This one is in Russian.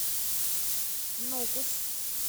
нукус